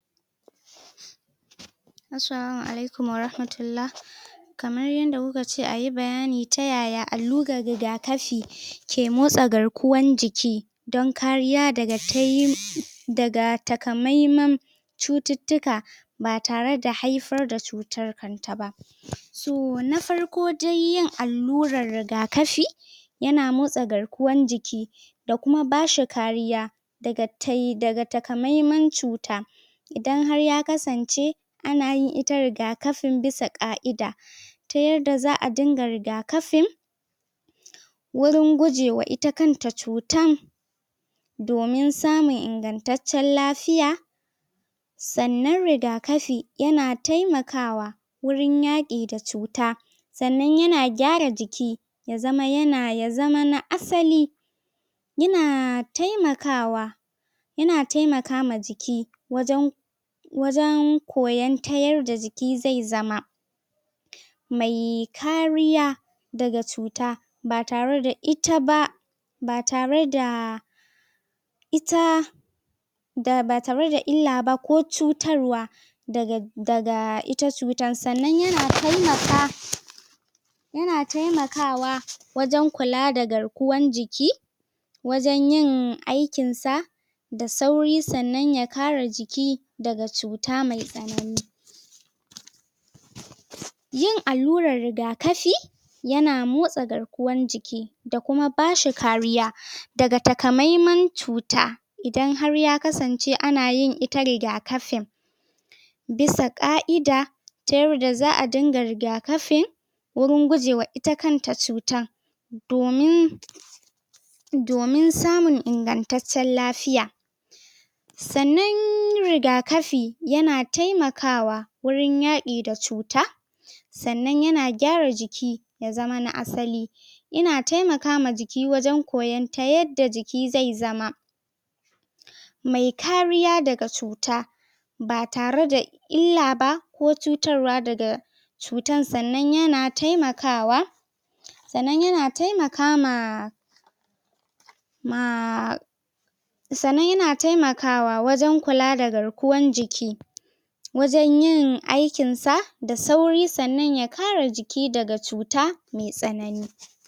assalamu walaikum warahmatullah kamar yanda kuka ce a yi bayani ta yaya allura rigakafi ke motsa garkuwan jiki dan kariya daga ta yi da ga takamaiman cuttutuka ba tare da haifar da cutan kan ta ba so, na farko dai allura rigakafi ya na motsa garkuwan jiki da kuma bashi kariya daga takamaiman cuta idan har ya kasance ana yin ita rigakafin bisa kaida ta yadda za'a dinga rigakafin wurin gujewa ita kan ta cutan domin samun ingantacciyan lafiya sannan rigakafi ya na taimakawa wurin yaki da cuta sannan ya na gyara jiki ya zama na asali ya na taimakawa ya na taimaka ma jiki wajan wajan koyan ta yar da jiki zai zama mai kariya daga cuta ba tare da ita ba ba tare da ita da ba tare da illa ba ko cutarwa daga ita cuttan sannan ya na taimaka ya na taimakawa wajen kula da garkuwan jiki wajen yin aikin sa da sauri sannan ya kara jiki da ga cuta mai sanani yin allura rigakafi ya na motsa garkuwan jiki da kuma ba shi kariya daga takamaiman cuta idan har ya kasance anayin ita rigakafin bisa kaida ta yar da za'a dinga rigakafin wurin gujewa ita kan ta cutar domin domin samin inganttacen lafiya sannan rigakafi ya na taimakawa wurin yaki da cuta sannan yana gyara jiki ya zama na asali ya na taimaka ma jiki wajen koyan ta ta yanja jiki zai zama mai kariya daga cuta ba tare da illa ba ko cutarwa daga cutan sannan ya na taimakawa sannan ya na taimaka ma ma sannan ya na taimaka wa wajen kula da garkuwan jiki wajen yin aikin sa da sauri sannan ya kare jiki daga cuta mai sanani